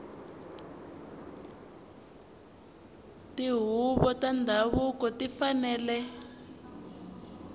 tihuvo ta ndhavuko ti fanele